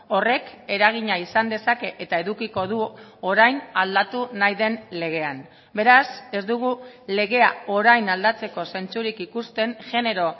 horrek eragina izan dezake eta edukiko du orain aldatu nahi den legean beraz ez dugu legea orain aldatzeko zentzurik ikusten genero